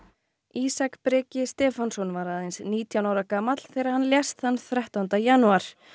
Ísak Breki Stefánsson var aðeins nítján ára gamall þegar hann lést þann þrettánda janúar